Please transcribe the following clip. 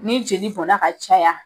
Ni jeli bɔnna ka caya